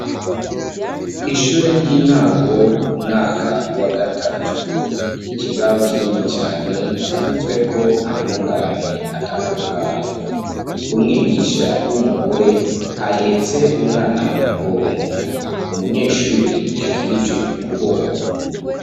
Ishure ry'intango umwaka wa gatatu ikibaho kinini cane canditsweko amungane atandukanye umwigisha w'umugore ahetse umwana mu mugongo umunyeshure yakirije ukuboko.